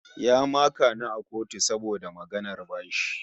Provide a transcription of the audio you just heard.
Ya maka ni a kotu saboda maganar bashi